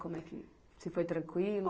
Como é que... se foi tranquilo?